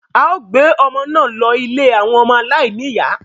a ó gbé ọmọ náà lọ ilé àwọn ọmọ aláìní-ìyá